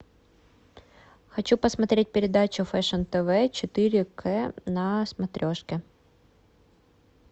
хочу посмотреть передачу фэшн тв четыре к на смотрешке